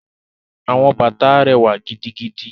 Àwọn bàtà rẹwa gidigidi.